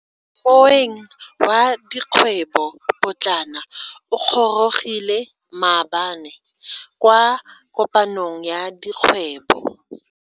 Moeng wa dikgwebo potlana o gorogile maabane kwa kopanong ya dikgwebo.